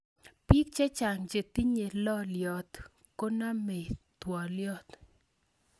Bik chechang che tinyei loliot konamei ptolyot